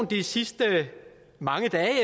de sidste mange dage